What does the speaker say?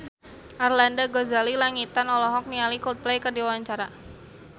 Arlanda Ghazali Langitan olohok ningali Coldplay keur diwawancara